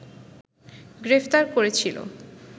গ্রেপ্তার করেছিল